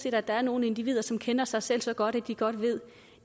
at der er nogle individer som kender sig selv så godt at de godt ved